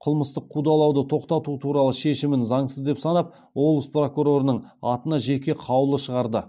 қылмыстық қудалауды тоқтату туралы шешімін заңсыз деп санап облыс прокурорының атына жеке қаулы шығарды